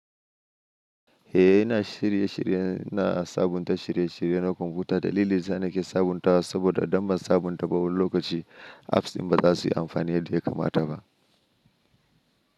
Eh ina shirye shirye na sabunta shirye shirye na kwamfuta. Daliln da yasa ni ke sabuntawa saboda idan ban sabunta ba wani lokaci apps ɗin ba za su yi amfani yadda ya kamata ba.